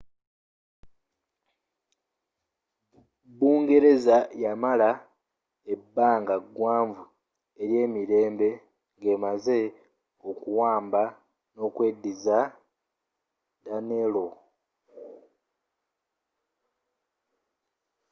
bungereza yamala ebbanga gwanvu eryemirembe ng'emaze okuwamba nokweddiza danelaw